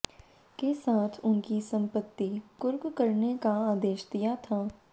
के साथ उनकी संपत्ति कुर्क करने का आदेश दिया था